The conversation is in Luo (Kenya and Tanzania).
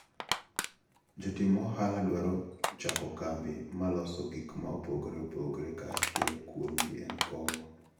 Jotim ohalo dwaro chako kambi maloso gikma opogore opogore ka achiel kuomgi en kong`o.